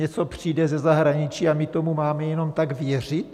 Něco přijde ze zahraničí a my tomu máme jenom tak věřit?